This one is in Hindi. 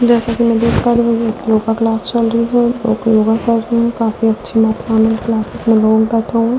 जेस की मे देख पा रही हु की योग क्लास चल रहे है लोग योग कर रहे हैकाफी अच्छी मात्र मे क्लाससेस में लोग बैठे हुए हैं --